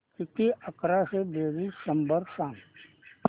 किती अकराशे बेरीज शंभर सांग